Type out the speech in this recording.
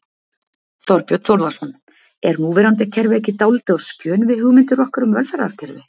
Þorbjörn Þórðarson: Er núverandi kerfi ekki dálítið á skjön við hugmyndir okkar um velferðarkerfi?